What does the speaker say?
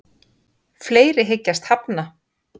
Fleiri hyggjast hafna